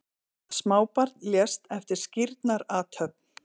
Smábarn lést eftir skírnarathöfn